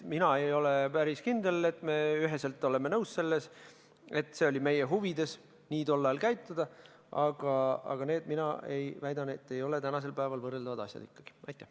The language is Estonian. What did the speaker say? Mina ei ole päris kindel, et me üheselt oleme nõus sellega, et oli meie huvides tollal nii käituda, aga need, mina väidan, ei ole tänasel päeval ikkagi võrreldavad asjad.